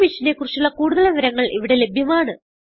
ഈ മിഷനെ കുറിച്ചുള്ള കുടുതൽ വിവരങ്ങൾ ഇവിടെ ലഭ്യമാണ്